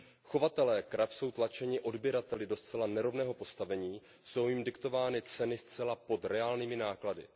Chovatelé krav jsou tlačeni odběrateli do zcela nerovného postavení, jsou jim diktovány ceny zcela pod reálnými náklady.